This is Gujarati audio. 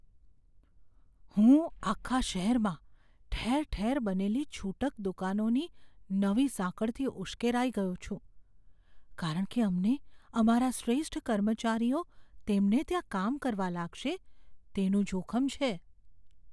હું આખા શહેરમાં ઠેર ઠેર બનેલી છૂટક દુકાનોની નવી સાંકળથી ઉશ્કેરાઈ ગયો છું, કારણ કે અમને અમારા શ્રેષ્ઠ કર્મચારીઓ તેમના ત્યાં કામ કરવા લાગશે, તેનું જોખમ છે.